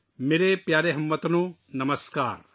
میرے پیارے ہم وطنو، نمسکار